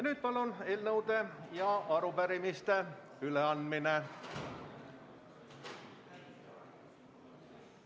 Nüüd on eelnõude ja arupärimiste üleandmine.